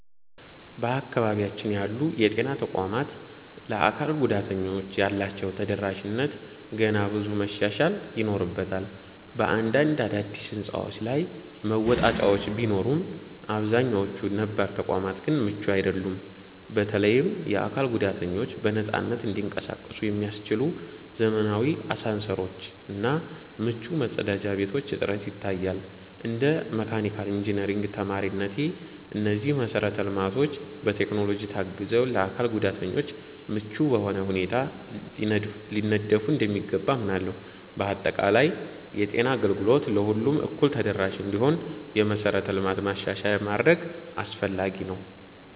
በአካባቢያችን ያሉ የጤና ተቋማት ለአካል ጉዳተኞች ያላቸው ተደራሽነት ገና ብዙ መሻሻል ይኖርበታል። በአንዳንድ አዳዲስ ሕንፃዎች ላይ መወጣጫዎች ቢኖሩም፣ አብዛኛዎቹ ነባር ተቋማት ግን ምቹ አይደሉም። በተለይም የአካል ጉዳተኞች በነፃነት እንዲንቀሳቀሱ የሚያስችሉ ዘመናዊ አሳንሰሮች እና ምቹ መጸዳጃ ቤቶች እጥረት ይታያል። እንደ መካኒካል ኢንጂነሪንግ ተማሪነቴ፣ እነዚህ መሰረተ ልማቶች በቴክኖሎጂ ታግዘው ለአካል ጉዳተኞች ምቹ በሆነ ሁኔታ ሊነደፉ እንደሚገባ አምናለሁ። በአጠቃላይ፣ የጤና አገልግሎት ለሁሉም እኩል ተደራሽ እንዲሆን የመሠረተ ልማት ማሻሻያ ማድረግ አስፈላጊ ነው።